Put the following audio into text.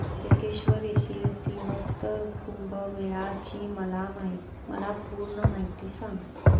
त्र्यंबकेश्वर येथील सिंहस्थ कुंभमेळा ची मला पूर्ण माहिती सांग